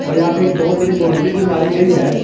और यहां पे एक बहुत बड़ी बाउंड्री भी मारी गई है।